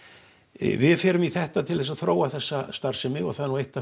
við förum í þetta til þess að þróa þessa starfsemi og það er nú eitt af